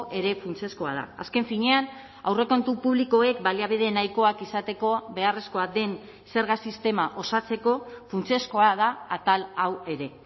ere funtsezkoa da azken finean aurrekontu publikoek baliabide nahikoak izateko beharrezkoa den zerga sistema osatzeko funtsezkoa da atal hau ere